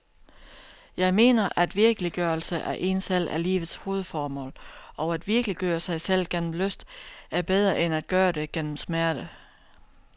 Jeg mener, at virkeliggørelse af en selv er livets hovedformål og at virkeliggøre sig selv gennem lyst er bedre end at gøre det gennem smerte.